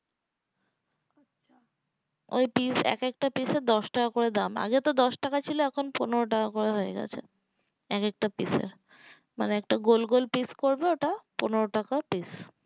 ওই পিস এক একটা পিসের দশ টাকা করে দাম আগে তো দশ টাকা ছিল এখন পনেরো টাকা হয়ে গেছে এক একটা পিস্ এর মানে একটা গোল গোল পিস্ করবে ওটা পনেরো টাকা পিস্